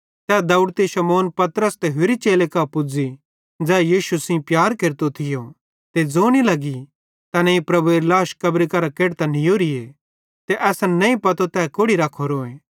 ते दौवड़ती शमौन पतरस ते होरि चेले कां पुज़ी ज़ै यीशु सेइं प्यार केरतो थियो ज़ोने लगी तैनेईं प्रभुएरी लाश कब्री मरां केढतां नीयोरो ते असन नईं पतो तै कोड़ि रख्खोरोए